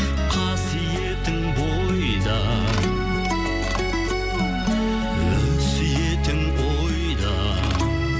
қасиетің бойда өсиетің ойда